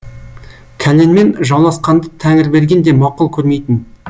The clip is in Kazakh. кәленмен жауласқанды тәңірберген де мақұл көрмейтін